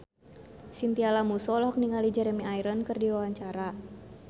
Chintya Lamusu olohok ningali Jeremy Irons keur diwawancara